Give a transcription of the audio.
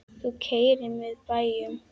Þú keyrir með bæjum.